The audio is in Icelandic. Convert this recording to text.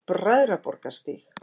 Bræðraborgarstíg